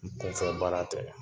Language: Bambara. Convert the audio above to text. Kunfɛbaara tɛ .